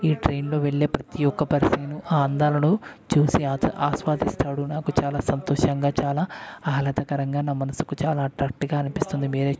ఈ ట్రైన్ లో వెళ్ళే ప్రతి ఒక్క పర్సను ఆ అందాలను చూసి ఆసి ఆస్వాదిస్తాడు. నాకు చాలా సంతోషంగా చాలా ఆహ్లాదకరంగా నా మనసుకు చాలా అట్ట్రాక్టు గా అనిపిస్తుంది. మీరై--